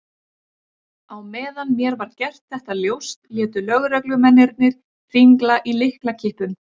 Á meðan mér var gert þetta ljóst létu lögreglumennirnir hringla í lyklakippum.